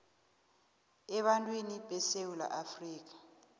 ebantwini besewula afrika